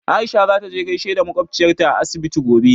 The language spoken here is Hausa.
Aisha za ta je gaishe da makwabciyarta a asibiti gobe.